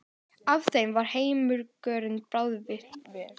Af þeim var helmingurinn bráðatilvik